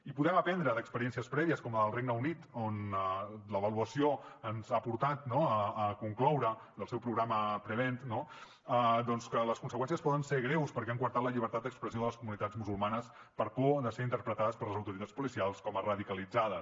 i podem aprendre d’experiències prèvies com la del regne unit on l’avaluació ens ha portat a concloure del seu programa prevent no doncs que les conseqüències poden ser greus perquè han coartat la llibertat d’expressió de les comunitats musulmanes per por de ser interpretades per les autoritats policials com a radicalitzades